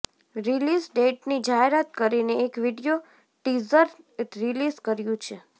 release ડેટની જાહેરાત કરીને એક વિડીયો ટીઝર રીલિઝ કર્યું છે